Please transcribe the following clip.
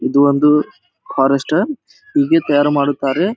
ಇದೊಂದು ಫಾರೆಸ್ಟ್ ಅಹ್ ಹೀಗೆ ತಯಾರು ಮಾಡುತ್ತಾರೆ.